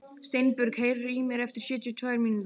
Steinbjörg, heyrðu í mér eftir sjötíu og tvær mínútur.